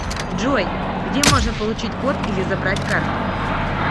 джой где можно получить код или забрать карту